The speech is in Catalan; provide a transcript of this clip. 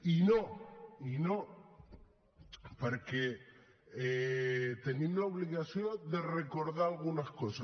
i no i no perquè tenim l’obligació de recordar algunes coses